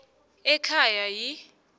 ekhaya yi r